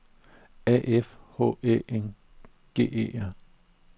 A F H Æ N G E R